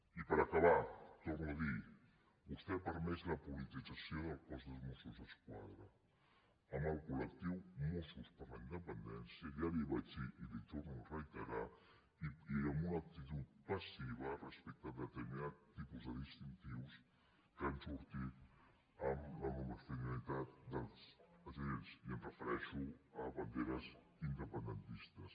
i per acabar ho torno a dir vostè ha permès la politització del cos dels mossos d’esquadra amb el col·lectiu mossos per la independència ja li ho vaig dir i li ho torno a reiterar i amb una actitud passiva respecte a determinats tipus de distintius que han sortit en la uniformitat dels agents i em refereixo a banderes independentistes